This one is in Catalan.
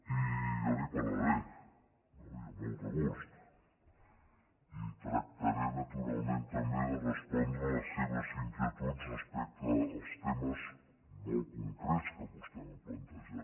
i jo li’n parlaré no i amb molt de gust i tractaré naturalment també de respondre a les seves inquietuds respecte als temes molt concrets que vostè m’ha plantejat